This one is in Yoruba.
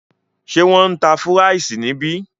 Ṣé wọn ń tá fúráìsì níbí?